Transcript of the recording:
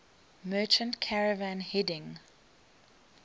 merchant caravan heading